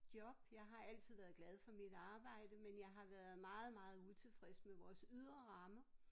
Job jeg har altid været glad for mit arbejde men jeg har været meget meget utilfreds med vores ydre rammer